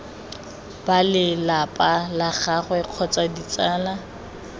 balelapa la gagwe kgotsa ditsala